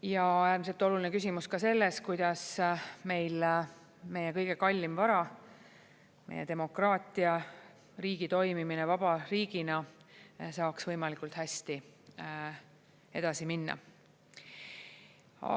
Ja äärmiselt oluline küsimus ka selles, kuidas meie kõige kallim vara, meie demokraatia, riigi toimimine vaba riigina saaks võimalikult hästi edasi minna.